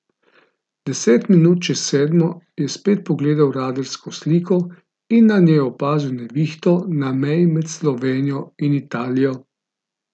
Deset minut čez sedmo je spet pogledal radarsko sliko in na njej opazil nevihto na meji med Slovenijo in Italijo.